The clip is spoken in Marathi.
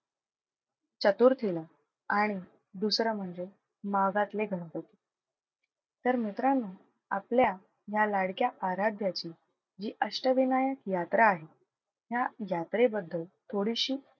चतुर्थीला आणि दुसरं म्हणजे माघातले गणपती. तर मित्रांनो आपल्या ह्या लाडक्या आराध्याची जी अष्टविनायक यात्रा आहे ह्या यात्रेबद्दल थोडीशी,